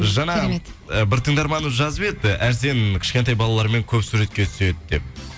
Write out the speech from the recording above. жаңа ы бір тыңдарманымыз жазып еді арсен кішкентай балалармен көп суретке түседі деп